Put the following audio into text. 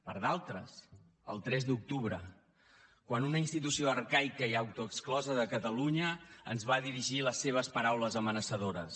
per a d’altres el tres d’octubre quan una institució arcaica i autoexclosa de catalunya ens va dirigir les seves paraules amenaçadores